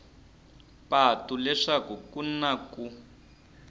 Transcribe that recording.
patu leswaku ku na ku